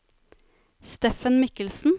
Steffen Mikkelsen